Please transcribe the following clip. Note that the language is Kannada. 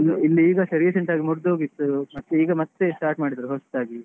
ಇಲ್ಲಿ ಇಲ್ಲಿ ಈಗಸ recent ಆಗಿ ಮುರ್ದೋಗಿತ್ತು. ಮತ್ತೆ ಈಗ ಮತ್ತೆ start ಮಾಡಿದ್ರು ಹೊಸತ್ತಾಗಿ.